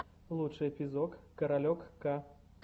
лучший эпизод каролек к